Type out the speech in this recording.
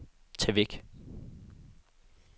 tag væk